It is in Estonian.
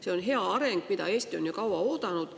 See on hea areng, mida Eesti on ju kaua oodanud.